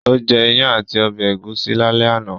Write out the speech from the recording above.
Ó jẹ́ ìyàn àti ọbẹ̀ ẹ̀gúsí lálẹ́ àná